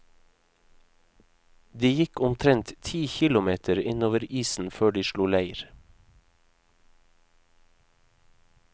De gikk omtrent ti kilometer innover isen før de slo leir.